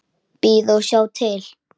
Bíða og sjá til.